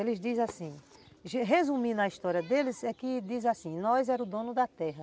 Eles dizem assim, resumindo a história deles, é que diz assim, nós éramos o dono da terra.